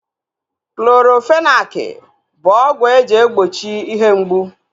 Clorofenaki bụ ọgwụ eji egbochi ihe mgbu